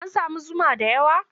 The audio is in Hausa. An sami zuma da yawa?